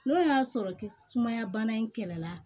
N'o y'a sɔrɔ sumaya bana in kɛlɛ la